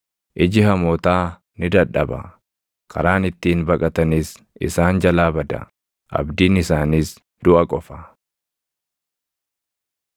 Iji hamootaa ni dadhaba; karaan ittiin baqatanis isaan jalaa bada; abdiin isaaniis duʼa qofa.”